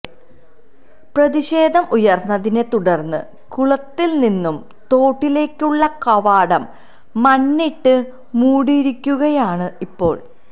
പ്രതിഷേധം ഉയര്ന്നതിനെ തുടര്ന്ന് കുളത്തില് നിന്നും തോട്ടിലേക്കുള്ള കവാടം മണ്ണിട്ട് മൂടിയിരിക്കുകയാണ് ഇപ്പോള്